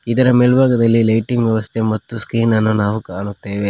ಇದರ ಮೆಲ್ಭಾಗದಲ್ಲಿ ಲೈಟಿಂಗ್ ವ್ಯವಸ್ಥೆ ಮತ್ತು ಸ್ಕಿನ್ ಅನ್ನ ನಾವು ಕಾಣುತ್ತೇವೆ.